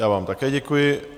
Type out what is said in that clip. Já vám také děkuji.